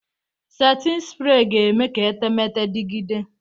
Setin sprey ga-eme ka etemeete dịgide.